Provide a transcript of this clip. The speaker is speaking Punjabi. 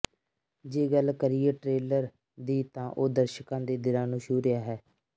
ਜੇ ਗੱਲ ਕਰੀਏ ਟਰੇਲਰ ਦੀ ਤਾਂ ਉਹ ਦਰਸ਼ਕਾਂ ਦੇ ਦਿਲਾਂ ਨੂੰ ਛੂਹ ਰਿਹਾ ਹੈ